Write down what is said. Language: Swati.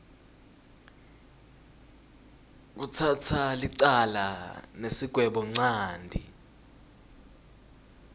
kutsatsa licala nesigwebonchanti